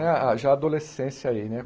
Ah ah, já a adolescência aí, né?